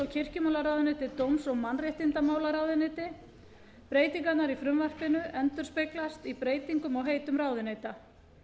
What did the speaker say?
kirkjumálaráðuneyti dóms og mannréttindamálaráðuneyti breytingarnar í frumvarpinu endurspeglast í breytingum á heitum ráðuneyta